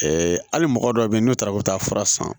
hali mɔgɔ dɔw bɛ yen n'u taara u bɛ taa fura san